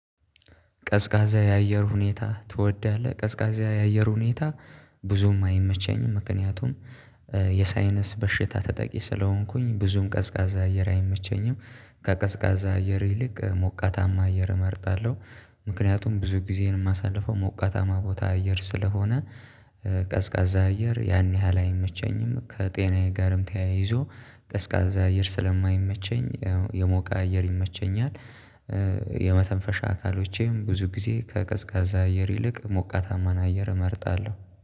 ቀዝቃዛ የአየር ሁኔታ ትወዳለህ? ቀዝቃዛ የአየር ሁኔታ ብዙም አይመቸኝም ምክንያቱም የሳይነስ በሽታ ተጠቂ ስለሆንኩኝ ብዙም ቀዝቃዛ አየር አይመቸኝም። ከቀዝቃዛ አየር ይልቅ ሞቃታማ አየር እመርጣለሁ። ምክንያቱም ብዙ ጊዜን የማሳልፈው ሞቃታማ ቦታ አየር ስለሆነ። ቀዝቃዛ አየር ያን ያህል አይመቸኝም። ከጤናዬ ጋርም ተያይዞ ቀዝቃዛ አየር ስለማይመቸኝ የሞቀ አየር ይመቸኛል። የመተንፈሻ አካሎቼም ብዙ ጊዜ ከቀዝቃዛ አየር ይልቅ ሞቃታማን አየር እመርጣለሁ